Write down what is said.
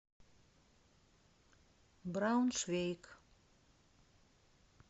брауншвейг